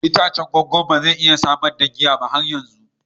Itacen kwakwan ba zai iya samar da giya ba har yanzu.